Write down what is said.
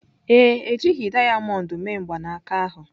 Ee, e jighị dayamond mee mgbanaka ahụ.